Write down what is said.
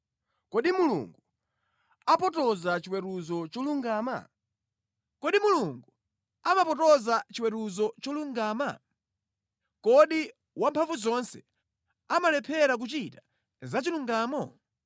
Kodi Mulungu amapotoza chiweruzo cholungama? Kodi Wamphamvuzonse amalephera kuchita zachilungamo?